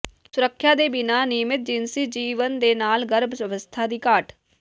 ਸੁਰੱਖਿਆ ਦੇ ਬਿਨਾਂ ਨਿਯਮਿਤ ਜਿਨਸੀ ਜੀਵਨ ਦੇ ਨਾਲ ਗਰਭ ਅਵਸਥਾ ਦੀ ਘਾਟ